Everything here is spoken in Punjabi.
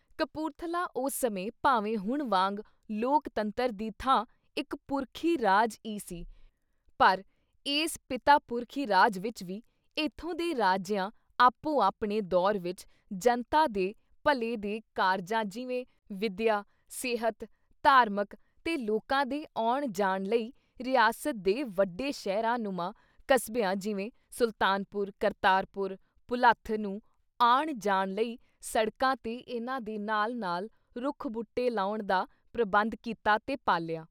ਕਪੂਰਥਲਾ ਉਸ ਸਮੇਂ ਭਾਵੇਂ ਹੁਣ ਵਾਂਗ ਲੋਕ-ਤੰਤਰ ਦੀ ਥਾਂ ਇੱਕ ਪੁਰਖੀ ਰਾਜ ਈ ਸੀ ਪਰ ਇਸ ਪਿਤਾ-ਪੁਰਖੀ ਰਾਜ ਵਿੱਚ ਵੀ ਏਥੋਂ ਦੇ ਰਾਜਿਆਂ ਆਪੋ-ਆਪਣੇ ਦੌਰ ਵਿੱਚ ਜਨਤਾ ਦੇ ਭਲੇ ਦੇ ਕਾਰਜਾਂ ਜਿਵੇਂ ਵਿੱਦਿਆ, ਸਿਹਤ, ਧਾਰਮਿਕ, ਤੇ ਲੋਕਾਂ ਦੇ ਆਉਣ-ਜਾਣ ਲਈ ਰਿਆਸਤ ਦੇ ਵੱਡੇ ਸ਼ਹਿਰਾ ਨੁਮਾ ਕਸਬਿਆਂ ਜਿਵੇਂ ਸੁਲਤਾਨਪੁਰ, ਕਰਤਾਰਪੁਰ, ਭੁਲੱਥ ਨੂੰ ਆਉਣ-ਜਾਣ ਲਈ ਸੜਕਾਂ ਤੇ ਇਨ੍ਹਾਂ ਦੇ ਨਾਲ ਨਾਲ ਰੁੱਖ- ਬੂਟੇ ਲਾਉਣ ਦਾ ਪ੍ਰਬੰਧ ਕੀਤਾ ਤੇ ਪਾਲ਼ਿਆ।